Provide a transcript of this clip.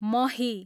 मही